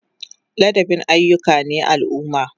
Ladabi ayyuka ne na al'umma.